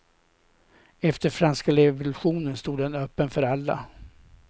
Efter franska revolutionen stod den öppen för alla.